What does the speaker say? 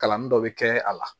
Kalanni dɔ bɛ kɛ a la